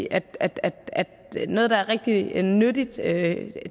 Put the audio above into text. at at noget der er rigtig nyttigt nyttigt